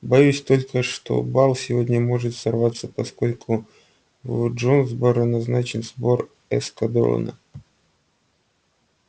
боюсь только что бал сегодня может сорваться поскольку в джонсборо назначен сбор эскадрона